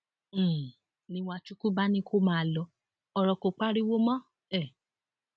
um ni wachukwu bá ní kó máa lo ọrọ kó pariwo mọ um